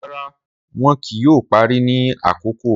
Rara, wọn kii yoo pari ni akoko.